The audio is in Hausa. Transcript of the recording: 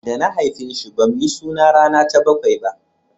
da na haife shi ba mu yi suna rana ta bakwai ba